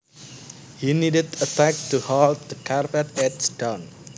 He needed a tack to hold the carpet edge down